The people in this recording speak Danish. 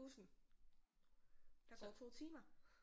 Bussen der går 2 timer